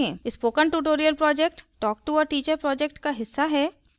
spoken tutorial project talktoateacher project का हिस्सा है